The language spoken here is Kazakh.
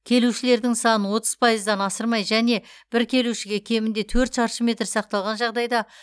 келушілердің санын отыз пайыздан асырмай және бір келушіге кемінде төрт шаршы метр сақталған жағдайда